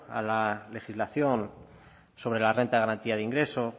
a la legislación sobre la renta de garantía de ingresos